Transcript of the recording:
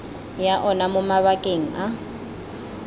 ya ona mo mabakeng a